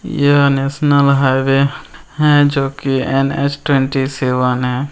यह है national highway है जो कि एन.एच. ट्वेंटी सेवन है।